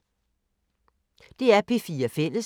DR P4 Fælles